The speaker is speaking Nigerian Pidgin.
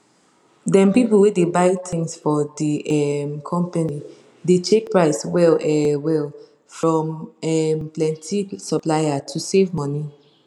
[] dem people wey dey buy thing for de um company dey check price well um well from um plenti supplier to save money